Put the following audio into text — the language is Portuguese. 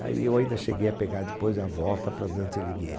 Aí eu ainda cheguei a pegar depois a volta para Dante Alighieri.